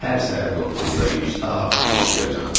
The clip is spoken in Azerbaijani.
Hər səhər 9-da iş ta axşam 6-yacan.